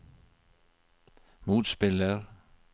motspiller